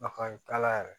Nafa t'a la yɛrɛ